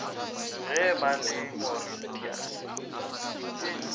ge ba le mauritius e